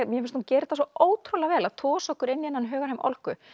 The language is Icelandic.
mér finnst hún gera þetta svo ótrúlega vel að tosa okkur inn í þennan hugarheim Olgu